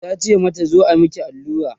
tace mata "zo a Miki allura?